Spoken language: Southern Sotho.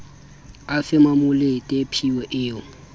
a fe mmamolete phiyo e